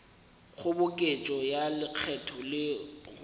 kgoboketšo ya lekgetho le go